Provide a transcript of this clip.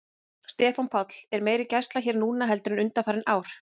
Stefán Páll: Er meiri gæsla hér núna heldur en undanfarin ár?